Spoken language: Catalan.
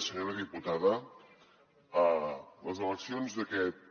senyora diputada les eleccions d’aquest